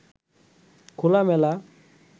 খোলামেলা